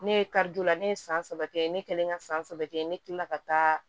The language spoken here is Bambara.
Ne ye karidon la ne ye san saba kɛ ne kɛlen ka san saba kɛ ne kilala ka taa